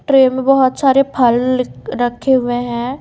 Tray में बहुत सारे फल रखे हुए है।